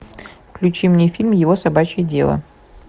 включи мне фильм его собачье дело